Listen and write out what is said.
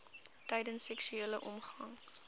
tydens seksuele omgang